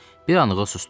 Bir anlığına susdum.